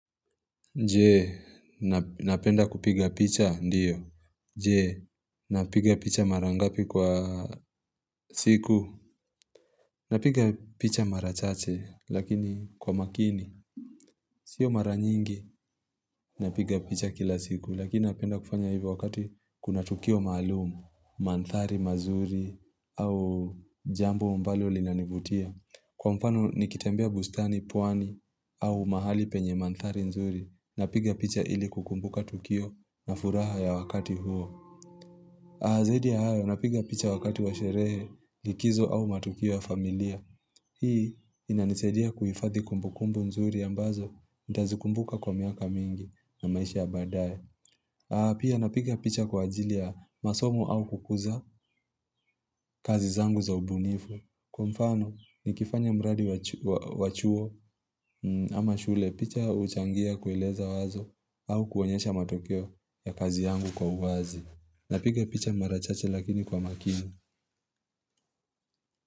Je, napenda kupiga picha, ndiyo. Je, napiga picha marangapi kwa siku. Napiga picha marachache, lakini kwa makini. Sio maranyingi, napiga picha kila siku. Lakini napenda kufanya hivyo wakati kuna tukio maalumu, mandhari, mazuri, au jambo ambalo linanivutia. Kwa mfano, nikitembia bustani, pwani, au mahali penye mandhari, nzuri. Napiga picha ili kukumbuka tukio na furaha ya wakati huo Azaidi ya hayo napiga picha wakati wa sherehe likizo au matukio ya familia Hii inaniseidia kuhifadhi kumbukumbu nzuri ambazo nitazikumbuka kwa miaka mingi na maisha baadaye Pia napiga picha kwa ajili ya masomo au kukuza kazi zangu za ubunifu Kwa mfano ni kifanya mradi wachuo ama shule picha huchangia kueleza wazo au kuonyesha matokeo ya kazi yangu kwa uwazi na piga picha marachache lakini kwa makini.